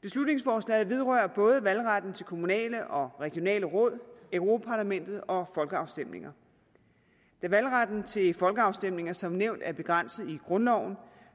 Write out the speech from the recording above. beslutningsforslaget vedrører både valgretten til kommunale og regionale råd europa parlamentet og folkeafstemninger da valgretten til folkeafstemninger som nævnt er begrænset i grundloven